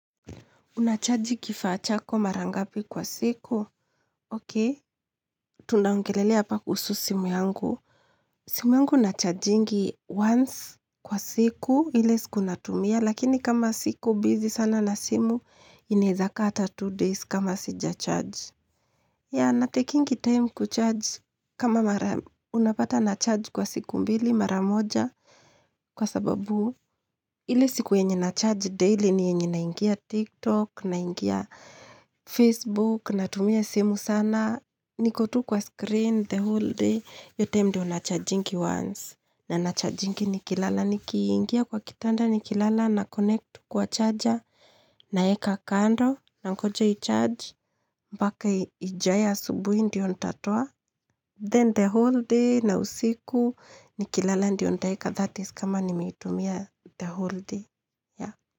Unachaji kifaa chako mara ngapi kwa siku, okey? Tunaongelelea apa kuhusu simu yangu. Simu yangu nachajingi once kwa siku, ile siku natumia, lakini kama siko, busy sana na simu, inaezaka ata two days kama sija charge. Yeah, natakingi time kucharge kama unapata na charge kwa siku mbili, mara moja, Kwa sababu, ile siku yenye na charge daily ni yenye naingia TikTok, naingia Facebook, na tumia simu sana. Niko tu kwa screen, the whole day, iyo time ndiyo nachajingi once. Na nachajingi nikilala, nikiingia kwa kitanda nikilala na connect kwa charger, naeka kando, nangoja i-charge. Mpaka ijae subuhi ndiyo ntatoa. Then the whole day na usiku nikilala ndio ntaeka that is kama nimeitumia the whole day.